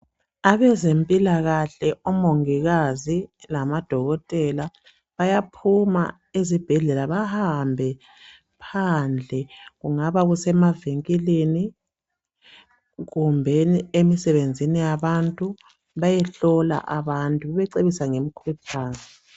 Abezempilakahle omongikazi lamadokotela bayaphuma ezibhedlela bahambe phandle. Kungaba kusemavinkini kumbeni emsebenzini yabantu bayehlola abantu bebacebisa ngemikhuhlane.